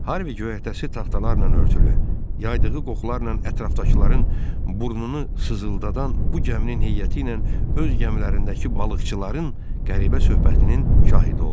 Harvi göyərtəsi taxtalarla örtülü, yaydığı qoxularla ətrafdakıların burnunu sızıldadan bu gəminin heyəti ilə öz gəmilərindəki balıqçıların qəribə söhbətinin şahidi oldu.